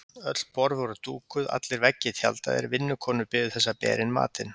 Öll borð voru dúkuð, allir veggir tjaldaðir, vinnukonur biðu þess að bera inn matinn.